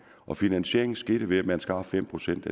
og finansieringen skete ved at man skar fem procent